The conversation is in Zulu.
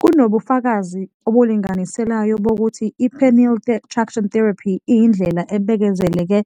Kunobufakazi obulinganiselayo bokuthi i-penile traction therapy iyindlela ebekezeleleke